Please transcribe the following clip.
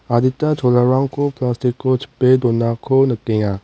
adita cholarangko plastic-o chipe donako nikenga.